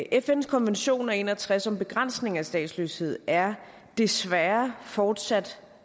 fns konvention af nitten en og tres om begrænsning af statsløshed er desværre fortsat